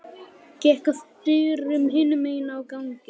Gekk að dyrum hinum megin á ganginum.